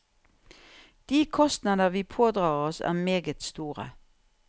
De kostnader vi pådrar oss, er meget store.